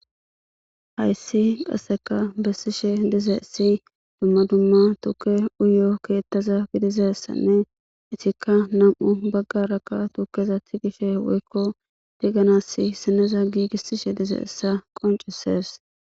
hayssi qasseka bessishe dizeyissi dumma dumma tuke uyo keettaza gidizessanne itikka nam'u baggarakka tukeza tigishe woykko diganas sineza giigissishe dize issa qoncises